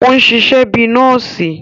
O ṣiṣẹ bi nọọsi